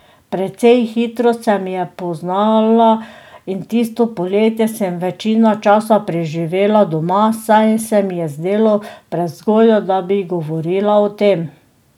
Precej hitro se mi je poznala in tisto poletje sem večino časa preživela doma, saj se mi je zdelo prezgodaj, da bi govorila o tem.